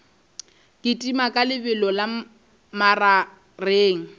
kitima ka lebelo la magareng